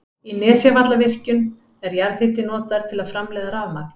Í Nesjavallavirkjun er jarðhiti notaður til að framleiða rafmagn.